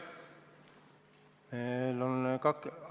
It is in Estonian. Aitäh!